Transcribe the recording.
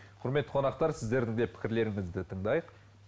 құрметті қонақтар сіздердің де пікірлеріңізді тындайық